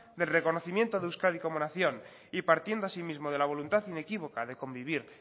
del reconocimiento de euskadi como nación y partiendo asimismo de la voluntad inequívoca de convivir